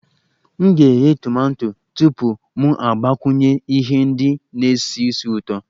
M ga-eghe tomato tupu mụ agbakwunye ihe ndị na-esi ísì ụtọ